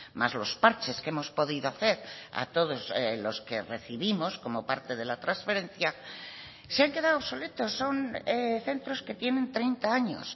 más los parches que hemos podido hacer a todos los que recibimos como parte de la transferencia se han quedado obsoletos son centros que tienen treinta años